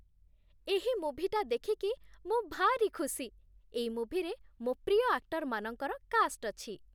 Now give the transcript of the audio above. ଏହି ମୁଭିଟା ଦେଖିକି ମୁଁ ଭାରି ଖୁସି । ଏଇ ମୁଭିରେ ମୋ' ପ୍ରିୟ ଆକ୍ଟରମାନଙ୍କର କାଷ୍ଟ୍ ଅଛି ।